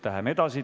Läheme edasi.